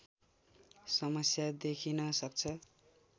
समस्या देखिन सक्छ